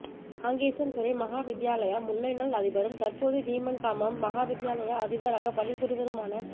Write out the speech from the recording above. காங்கேசன்துறை மகா வித்தியாலய முன்னைநாள் அதிபரும் தற்போது வீமன்காமம் மகா வித்தியாலய அதிபராகப் பணிபுரிபவருமான